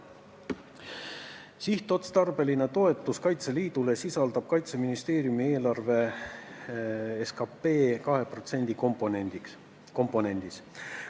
Sihtotstarbeline toetus Kaitseliidule sisaldub Kaitseministeeriumi eelarves – see on siis 2% SKP-st.